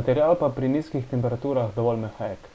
material pa pri nizkih temperaturah dovolj mehek